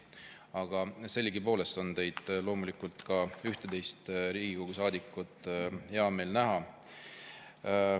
Aga sellegipoolest on ka teid ühtteist loomulikult, head Riigikogu saadikud, hea meel näha.